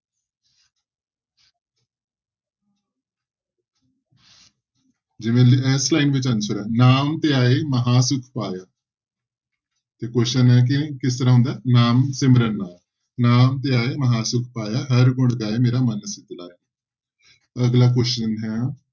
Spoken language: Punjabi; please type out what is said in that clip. ਜਿਵੇਂ ਇਸ line ਵਿੱਚ answer ਹੈ ਨਾਮ ਧਿਆਏ ਮਹਾਂ ਸੁੱਖ ਪਾਇਆ ਤੇ question ਹੈ ਕਿ ਕਿਸ ਤਰ੍ਹਾਂ ਹੁੰਦਾ ਹੈ ਨਾਮ ਸਿਮਰਨ ਨਾਲ, ਨਾਮ ਧਿਆਏ ਮਹਾਂ ਸੁੱਖ ਪਾਇਆ, ਹਰਿ ਗੁਣ ਗਾਏ ਮੇਰਾ ਮਨ ਸੀਤਲਾਇਆ ਅਗਲਾ question ਹੈ,